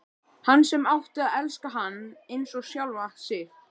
Hún sem átti að elska hann eins og sjálfa sig.